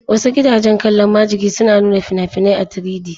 Wasu gidajen kallon majigi suna nuna fina-finai a 3D